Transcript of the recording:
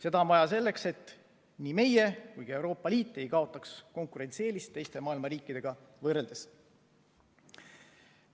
Seda on vaja selleks, et nii meie kui ka Euroopa Liit ei kaotaks konkurentsieelist teiste maailma riikide ees.